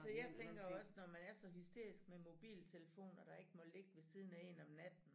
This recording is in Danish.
Altså jeg tænker også når man er så hysterisk med mobiltelefoner der ikke må ligge ved siden af én om natten